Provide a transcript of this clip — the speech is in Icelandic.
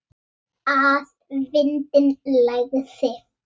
Að vindinn lægði.